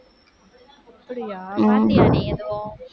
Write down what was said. அப்படியா?